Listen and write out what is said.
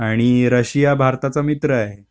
आणि रशिया भारताचा मित्र आहे.